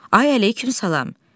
Ay əleyküm salam.